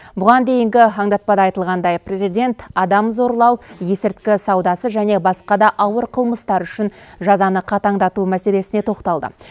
бұған дейінгі аңдатпада айтылғандай президент адам зорлау есірткі саудасы және басқа да ауыр қылмыстар үшін жазаны қатаңдату мәселесіне тоқталды